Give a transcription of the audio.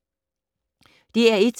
DR1